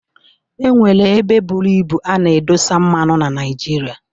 E nwere ebe buru ibu a na-edosa mmanụ na Naijiria.